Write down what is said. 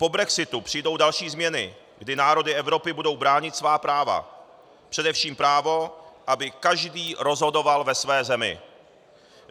Po brexitu přijdou další změny, kdy národy Evropy budou bránit svá práva, především právo, aby každý rozhodoval ve své zemi.